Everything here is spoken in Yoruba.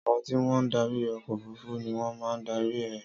Àwọn tí wọ́n darí ọkọ̀ òfurufú ni wọ́n máa dárí rẹ̀.